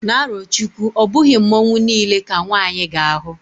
na arochukwu, obughi Mmanwu nile ka nwanyi ga-ahu